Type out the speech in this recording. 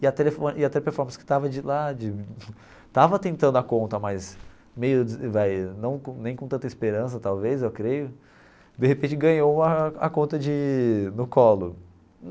E a telefô e a Teleperformance que estava de lá de estava tentando a conta, mas meio vai não com nem com tanta esperança, talvez, eu creio, de repente ganhou uma a conta de no colo.